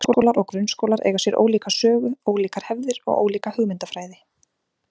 Leikskólar og grunnskólar eiga sér ólíka sögu, ólíkar hefðir og ólíka hugmyndafræði.